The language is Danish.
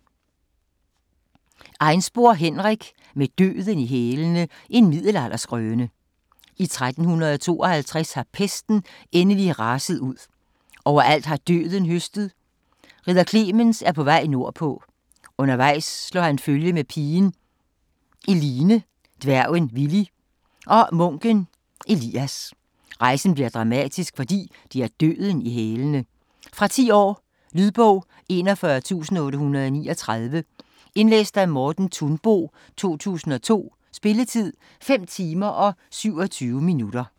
Einspor, Henrik: Med Døden i hælene: en middelalderskrøne I 1352 har pesten endelig raset ud. Overalt har Døden høstet. Ridder Clemens er på vej nordpå. Undervejs slår han følge med pigen Eline, dværgen Willy og munken Elias. Rejsen bliver dramatisk, for de har Døden i hælene. Fra 10 år. Lydbog 41839 Indlæst af Morten Thunbo, 2002. Spilletid: 5 timer, 27 minutter.